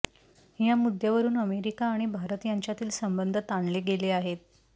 या मुद्यांवरून अमेरिका आणि भारत यांच्यातील संबंध ताणले गेले आहेत